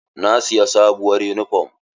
Na siyi sabuwar yunifom.